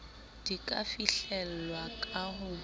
di ka fihlelwa ka ho